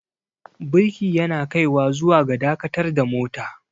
birki yana kaiwa zuwa ga dakatar da mota